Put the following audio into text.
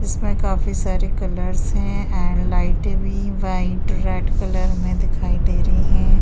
इसमें काफी सारे कलर्स हैं एण्ड लाईटें भी व्हाइट रेड कलर में दिखाई दे रही हैं।